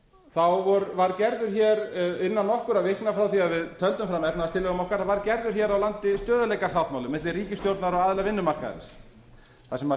þá var gerður hér innan nokkurra vikna frá því við tefldum fram efnahagstillögum okkar var gerður hér á landi stöðugleikasáttmáli milli ríkisstjórnar og aðila vinnumarkaðarins þar sem